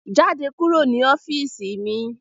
Jáde kúrò ní ọ́fíìsì mi